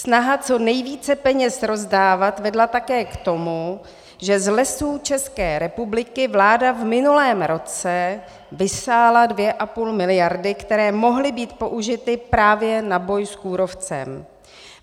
Snaha co nejvíce peněz rozdávat vedla také k tomu, že z Lesů České republiky vláda v minulém roce vysála dvě a půl miliardy, které mohly být použity právě na boj s kůrovcem.